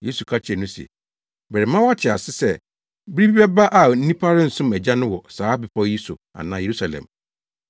Yesu ka kyerɛɛ no se, “Merema woate ase sɛ bere bi bɛba a nnipa rensom Agya no wɔ saa bepɔw yi so anaa Yerusalem.”